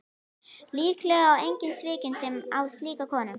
Líklega er enginn svikinn sem á slíka konu.